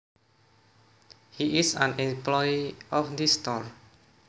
He is an employee of this store